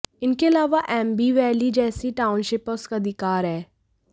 इनके अलावा एम्बी वैली जैसी टाउनशिप पर उसका अधिकार है